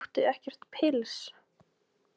Áttu ekkert pils?